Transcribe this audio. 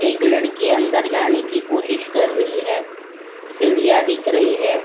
एक लड़की अंदर जाने की कोशिश कर रही है सिढ़िया दिख रही है।